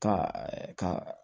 Ka ka